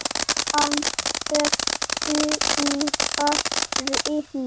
Hann er búinn að reyn